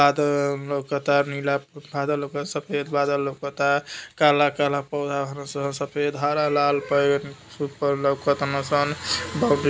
आद लौकता नीला आधा लौकता सफ़ेद बादल लौकता। काला काला पौधा बानसन। सफेद हरा लाल पेड़ ऊपर लौकतन सन। बहु --